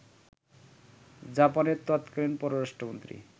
জাপানের তৎকালীন পররাষ্ট্রমন্ত্রী